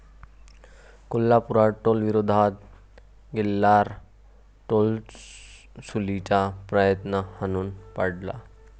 कोल्हापुरात टोलविरोधात एल्गार, टोलवसुलीचा प्रयत्न हाणून पाडला